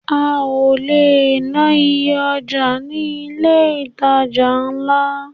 A ò le ná iye ọjà ní ilé ìtajà ńlá.